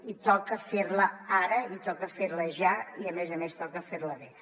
i toca fer la ara i toca fer la ja i a més a més toca fer la bé